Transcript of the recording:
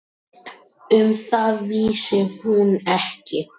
Um það vissi hún ekki.